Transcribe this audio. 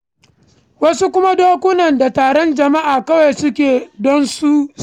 Wasu kuma dokuna da taron jama'a kawai suke zuwa don su kalla.